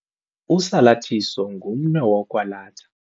Usalathiso ngumnwe wokwalatha.